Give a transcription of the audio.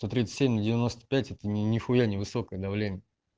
сто тридцать семь на девяносто пчять это не нехуя не высокое давление